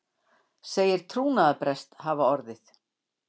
Segir trúnaðarbrest hafa orðið